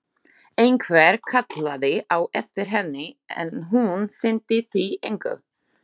Einhver kallaði á eftir henni, en hún sinnti því engu.